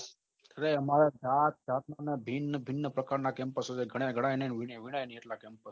અરે આમરે જાત જાત ભિન ભિન પ્રકાર ના campaso છે ઘડાય ઘડાય ને